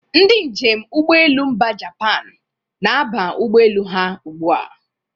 Ndị njem ụgbọelu mba Japan na-aba ụgbọelu ha ugbu a.